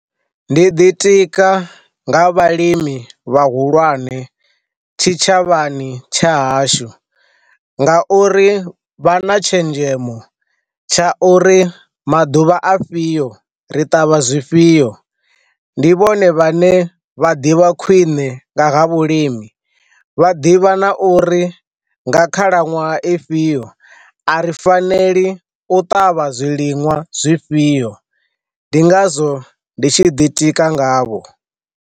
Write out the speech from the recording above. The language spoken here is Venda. Ndi ḓitika nga vhalimi vha hulwane tshitshavhani tsha hashu nga uri vha na tshenzhemo tsha uri maḓuvha a fhio ri ṱavha zwifhio ndi vhone vhane vha ḓivha khwiṋe nga ha vhulimi vha ḓivha na uri nga khalaṅwaha ifhio a ri faneli u ṱavha zwiliṅwa zwifhio ndi ngazwo ndi tshi ḓitika ngavho.